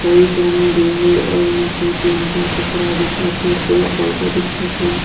कई झन गे हे अउ दु तीन ईटा पथरा दिखत थे पेड़ पौधा दिखत थे।